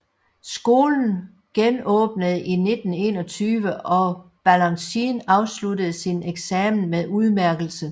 Skolen genåbnede i 1921 og Balanchine afsluttede sin eksamen med udmærkelse